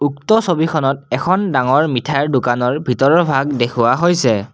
উক্ত ছবিখনত এখন ডাঙৰ মিঠাইৰ দোকানৰ ভিতৰৰ ভাগ দেখুওৱা হৈছে।